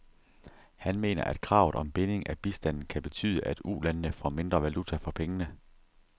Han mener, at kravet om binding af bistanden kan betyde, at ulandene får mindre valuta for pengene.